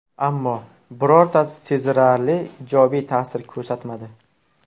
Ammo, birortasi sezilarli ijobiy ta’sir ko‘rsatmadi.